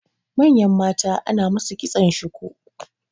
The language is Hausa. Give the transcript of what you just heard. manyan mata ana musu kitson shuku